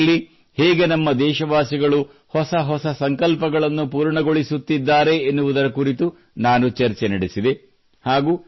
ಅಮೃತ ಕಾಲದಲ್ಲಿ ಹೇಗೆ ನಮ್ಮ ದೇಶವಾಸಿಗಳು ಹೊಸ ಹೊಸ ಸಂಕಲ್ಪಗಳನ್ನು ಪೂರ್ಣಗೊಳಿಸುತ್ತಿದ್ದಾರೆ ಎನ್ನುವುದರ ಕುರಿತು ನಾನು ಚರ್ಚೆ ನಡೆಸಿದೆ